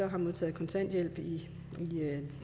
har modtaget kontanthjælp i